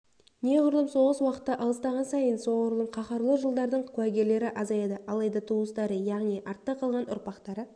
неғұрлым соғыс уақыты алыстаған сайын соғұрлым қаһарлы жылдардың куәгерлері азаяды алайда туыстары яғни артта қалған ұрпақтары